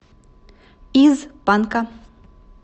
из панка